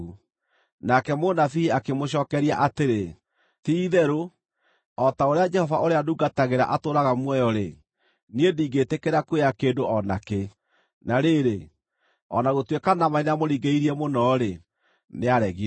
Nake mũnabii akĩmũcookeria atĩrĩ, “Ti-itherũ o ta ũrĩa Jehova ũrĩa ndungatagĩra atũũraga muoyo-rĩ, niĩ ndingĩĩtĩkĩra kuoya kĩndũ o na kĩ.” Na rĩrĩ, o na gũtuĩka Naamani nĩamũringĩrĩirie mũno-rĩ, nĩaregire.